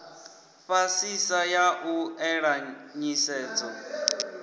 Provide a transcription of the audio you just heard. fhasisa a u ela nḓisedzo